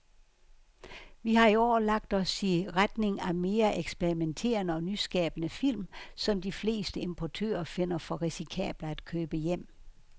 Vi har i år lagt os i retning af mere eksperimenterede og nyskabende film, som de fleste importører finder for risikable at købe hjem.